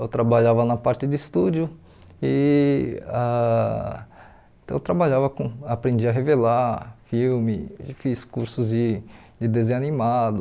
Eu trabalhava na parte de estúdio e ah então eu trabalho com eu aprendi a revelar, filme, fiz cursos de de desenho animado.